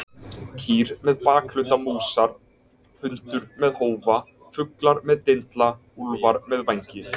Kýr með bakhluta músar, hundur með hófa, fuglar með dindla, úlfar með vængi.